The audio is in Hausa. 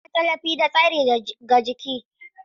Ƙwarangwal yana ba da tallafi da tsari ga jiki.